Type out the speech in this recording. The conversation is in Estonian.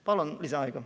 Palun lisaaega!